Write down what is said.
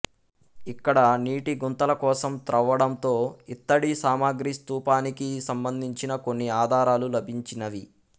ఇక్కడ నీటిగుంతలకోసం త్రవ్వడంతో ఇత్తడిసామాగ్రి స్థూపానికి సంబంధించిన కొన్ని ఆధారాలు లభించినవి